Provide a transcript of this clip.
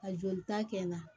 A jolita kɛ n na